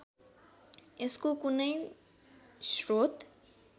यसको कुनै स्रोत